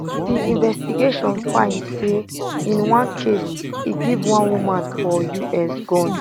di investigations find say in one case e give one woman for us gun